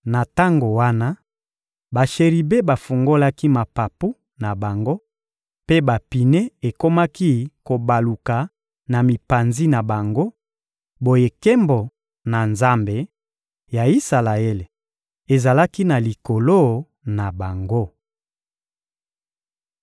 Na tango wana, basheribe bafungolaki mapapu na bango mpe bapine ekomaki kobaluka na mipanzi na bango; boye nkembo na Nzambe ya Isalaele ezalaki na likolo na bango.